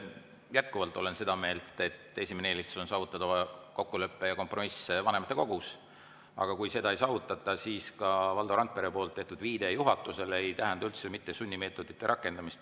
Jätkuvalt olen seda meelt, et esimene eelistus on saavutada kokkulepe ja kompromiss vanematekogus, aga kui seda ei saavutata, siis ka Valdo Randpere tehtud viide juhatusele ei tähenda üldse mitte sunnimeetodite rakendamist.